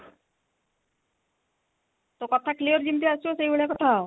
ତୋ କଥା clear ଯେମିତି ଆସିବ ସେଇ ଭଳିଆ କଥା ହ